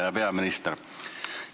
Hea peaminister!